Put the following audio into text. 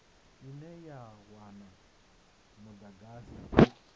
ine ya wana mudagasi u